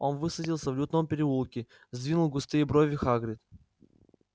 он высадился в лютном переулке сдвинул густые брови хагрид